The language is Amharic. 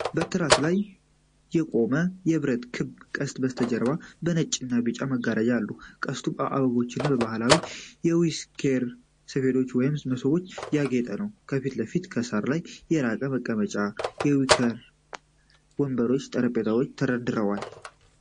በትራስ ላይ የቆመ የብረት ክብ ቅስት በስተጀርባ በነጭና ቢጫ መጋረጃዎች አሉ። ቅስቱ በአበባዎችና በባህላዊ የዊኬር ሰፌዶች ወይም መሶቦች ያጌጠ ነው። ከፊት ለፊት፣ በሣር ላይ የራት መቀመጫ፣ የዊኬር ወንበሮችና ጠረጴዛዎች ተደርድረዋል።